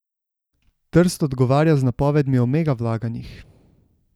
Trst odgovarja z napovedmi o mega vlaganjih.